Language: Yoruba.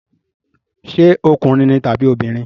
Ṣé ọkùnrin ni tàbí obìnrin?